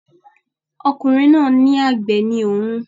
Ọkùnrin náà ní àgbẹ̀ ni òun